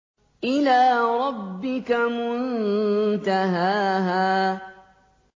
إِلَىٰ رَبِّكَ مُنتَهَاهَا